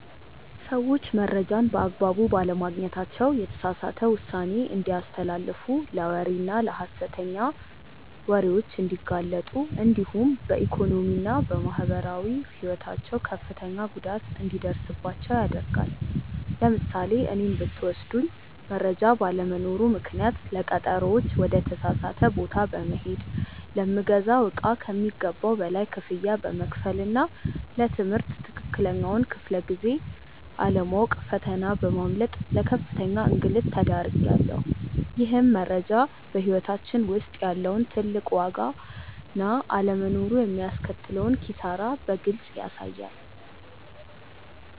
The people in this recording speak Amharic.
ሰዎች መረጃን በአግባቡ ባለማግኘታቸው የተሳሳተ ውሳኔ እንዲያስተላልፉ ለወሬና ለሐሰተኛ ወሬዎች እንዲጋለጡ እንዲሁም በኢኮኖሚና በማህበራዊ ሕይወታቸው ከፍተኛ ጉዳት እንዲደርስባቸው ያደርጋል። ለምሳሌ እኔን ብትወስዱኝ መረጃ ባለመኖሩ ምክንያት ለቀጠሮዎች ወደ ተሳሳተ ቦታ በመሄድ፣ ለምገዛው እቃ ከሚገባው በላይ ክፍያ በመክፈልና ለ ትምህርት ትክክለኛውን ክፍለ-ጊዜ አለማወቅ ፈተና በማምለጥ ለከፍተኛ እንግልት ተዳርጌያለሁ። ይህም መረጃ በሕይወታችን ውስጥ ያለውን ትልቅ ዋጋና አለመኖሩ የሚያስከትለውን ኪሳራ በግልጽ ያሳያል።